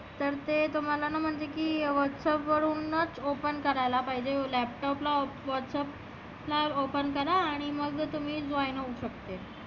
तर ते तुम्हाला ना म्हणजे की whatsapp वर ना open करा पहिले laptop ला whatsapp ला open करा आणि मग तुम्ही join होऊ शकते.